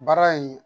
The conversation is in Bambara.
Baara in